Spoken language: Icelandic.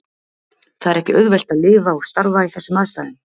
Það er ekki auðvelt að lifa og starfa í þessum aðstæðum.